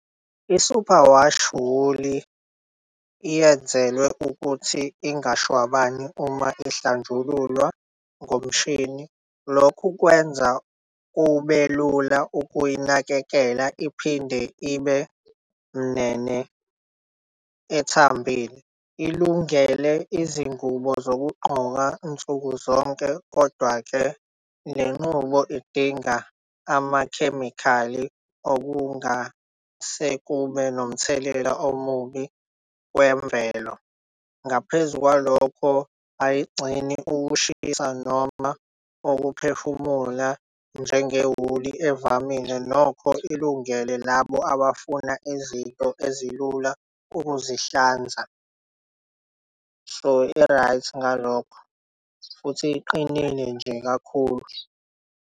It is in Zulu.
I-superwash wool yenzelwe ukuthi ingashwabani uma ihlanjululwa ngomshini. Lokhu kwenza ubelula ukuyinakekela iphinde ibe nene ethambile ilungele izingubo zokugqoka nsuku zonke. Kodwa-ke lenqubo idinga amakhemikhali okungasekube nomthelela omubi kwemvelo. Ngaphezu kwalokho ayigcine ukushisa noma ukuphefumula njengewuli evamile nokho ilungele labo abafuna izinto ezilula ukuzihlanza. So i-right ngalokho futhi iqinile nje kakhulu.